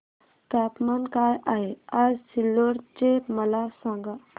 तापमान काय आहे आज सिल्लोड चे मला सांगा